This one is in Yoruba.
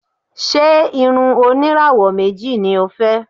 Ṣé irun oníràwọ̀ méjì ni o fẹ́?